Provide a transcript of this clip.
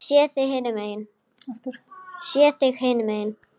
Sé þig hinum megin.